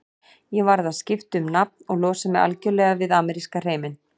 Ég varð að skipta um nafn og losa mig algjörlega við ameríska hreiminn.